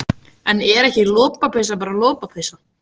En er ekki lopapeysa bara lopapeysa?